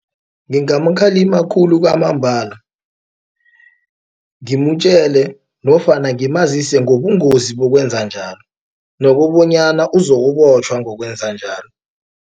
Ngingamkhalima khulu kwamambala ngimtjele nofana ngimazise ngobungozi bokwenza njalo nokobonyana uzokubotjhwa ngokwenza njalo.